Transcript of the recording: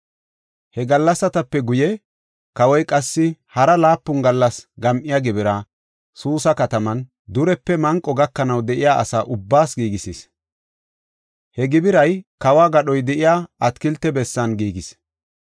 He gallasatape guye, kawoy qassi hara laapun gallas gam7iya gibira, Suusa kataman, durepe manqo gakanaw de7iya asa ubbaas giigisis. He gibiray kawo gadhoy de7iya atakilte bessan giigis.